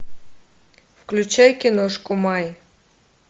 включай киношку май